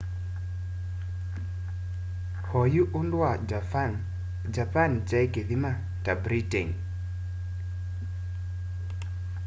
oyu undu wa japan japan kyai kithama ta britain